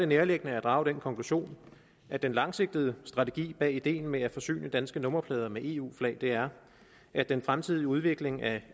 nærliggende at drage den konklusion at den langsigtede strategi bag ideen med at forsyne danske nummerplader med eu flag er at den fremtidige udvikling af